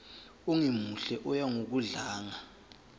ongemuhle oya ngokudlanga